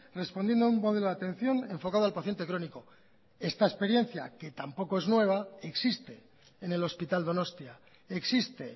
respondiendo a un modelo de atención enfocado al paciente crónico esta experiencia que tampoco es nueva existe en el hospital donostia existe